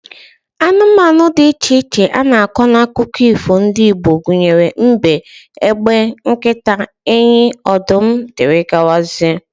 Anụmanụ dị iche iche a na-akọ n'akụkọ ifo ndị Igbo gụnyere mbe, egbe, nkịta, enyi, ọdụm, dgz